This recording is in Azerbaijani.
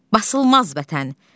Basılmaz vətən.